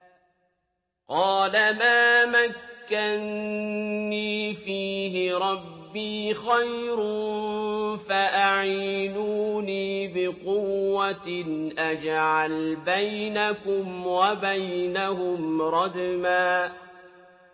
قَالَ مَا مَكَّنِّي فِيهِ رَبِّي خَيْرٌ فَأَعِينُونِي بِقُوَّةٍ أَجْعَلْ بَيْنَكُمْ وَبَيْنَهُمْ رَدْمًا